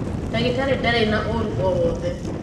ndagītarī ndarī na ūru o wothe.